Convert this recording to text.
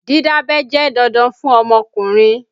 Dídábẹ́ jẹ́ dandan fún ọmọkùnrin